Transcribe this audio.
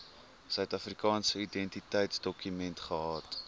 suidafrikaanse identiteitsdokument gehad